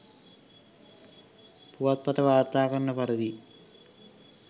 පුවත්පත වාර්තා කරන පරිදි